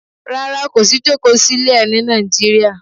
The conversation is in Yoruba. Rárá, kò sí jókòó sílé ẹ ní Nàìjíríà.